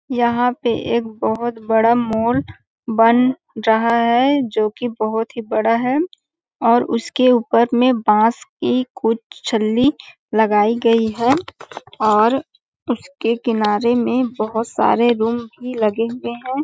यहाँ पे एक बहोत बड़ा मॉल बन है जो की बहुत ही बड़ा है और उसके ऊपर मे बांस की कुछ छल्ली लगायी गयी है और उसके किनारे में बहोत सारे रूम भी लगे हुए है। .